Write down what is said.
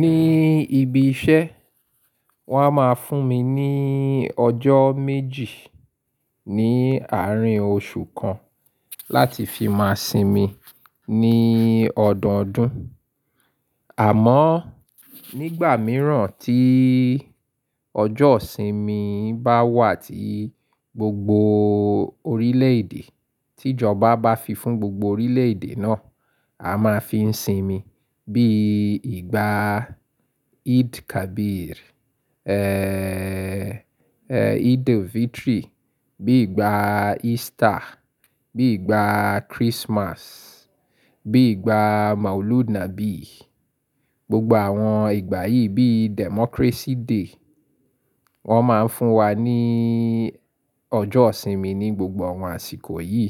Ní ibi iṣẹ́ wọ́n á máa fún mi ní ọjọ́ méjì ní àárín oṣù kan láti fi máa sinmi ní ọdọọdún. Àmọ́ nígbà mìíràn tí ọjọ́ ìsinmi bá wà tí gbogbo orílẹ̀ èdè, tí ìjọba bá fi fún gbogbo orílẹ̀ èdè náà, a máa fi ń sinmi bí i ìgbà Eid Kabir, Eid-el-Fitri, bí i ìgbà Easter, bí i ìgbà Christmas, bí i ìgbà Maulud Nabi. Gbogbo àwọn ìgbà yìí bí i Democracy Day wọ́n máa ń fún wa ní ọjọ́ ìsinmi ní gbogbo àwọn àsìkò yìí.